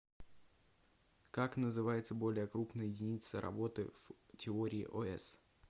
как называется более крупная единица работы в теории ос